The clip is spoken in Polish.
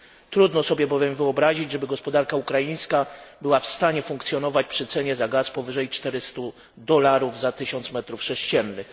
Trudno sobie bowiem wyobrazić, żeby gospodarka ukraińska była w stanie funkcjonować przy cenie gazu powyżej 400 dolarów za 1 tysiąc metrów sześciennych.